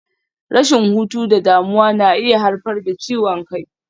Rashin hutu da damuwa na iya haifar da ciwon kai.